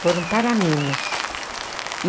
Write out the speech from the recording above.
Foram para Minas.